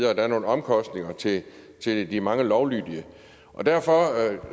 er nogle omkostninger til til de mange lovlydige derfor